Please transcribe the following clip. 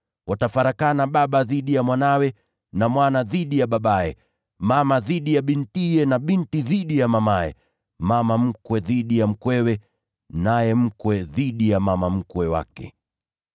Watafarakana baba dhidi ya mwanawe na mwana dhidi ya babaye, mama dhidi ya bintiye na binti dhidi ya mamaye, naye mama mkwe dhidi ya mkwewe na mkwe dhidi ya mama mkwe wake.”